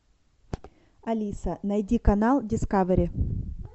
алиса найди канал дискавери